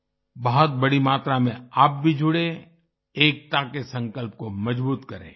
बहुत बड़ी मात्रा में आप भी जुडें एकता के संकल्प को मजबूत करें